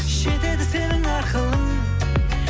жетеді сенің ақылың